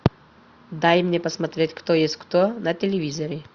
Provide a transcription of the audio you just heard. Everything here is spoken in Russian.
дай мне посмотреть кто есть кто на телевизоре